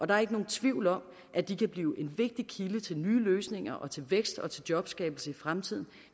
der er ikke nogen tvivl om at de kan blive en vigtig kilde til nye løsninger og til vækst og jobskabelse i fremtiden